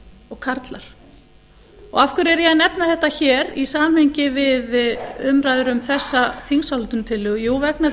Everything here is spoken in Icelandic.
og karlar og af hverju er ég að nefna þetta hér í samhengi við umræður um þessa þingsályktunartillögu jú vegna